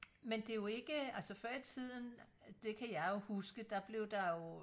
men det er jo ikke altså før i tiden det kan jeg jo huske der blev der jo